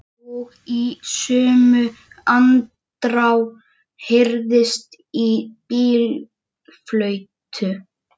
Og í sömu andrá heyrðist í bílflautu.